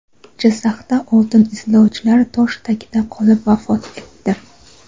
Jizzaxda oltin izlovchilar tosh tagida qolib vafot etdi.